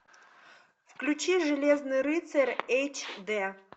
включи железный рыцарь эйч д